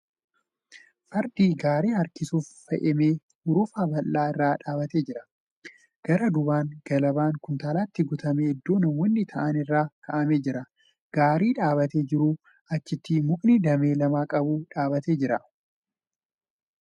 Fardii gaarii harkisuuf fe'ame hurufa bal'aa irra dhaabbatee jira. Gara duubaan galabaan kuntaalatti guutamee iddoo namoonni taa'an irra kaa'amee jira. Gaarii dhaabbatee jiruun achitti mukni damee lama qabu dhaabbatee jira.